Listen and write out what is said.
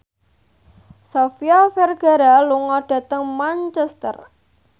Sofia Vergara lunga dhateng Manchester